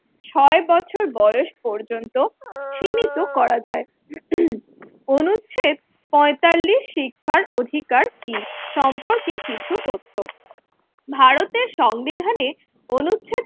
ছয় বছর বয়স পর্যন্ত সীমিত করা যায়। অনুচ্ছেদ পঁয়তাল্লিশ শিক্ষার অধিকার কি সম্পর্কে কিছু তথ্য, ভারতের সংবিধানে অনুচ্ছেদ